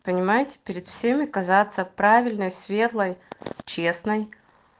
понимаете перед всеми казаться правильной светлой честной